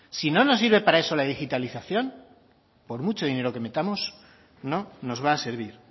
si no nos sirve para eso la digitalización por mucho dinero que metamos no nos va a servir